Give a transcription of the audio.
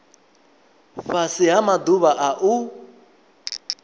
fhasi ha maḓuvha a u